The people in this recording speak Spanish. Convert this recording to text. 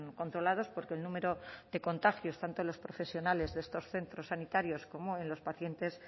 controlados porque el número de contagios tanto en los profesionales de estos centros sanitarios como en los pacientes